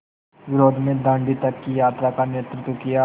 विरोध में दाँडी तक की यात्रा का नेतृत्व किया